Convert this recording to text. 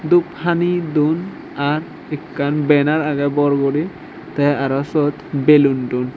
dup hani don ar ekkan banner agey bor guri tey aro syot belun don.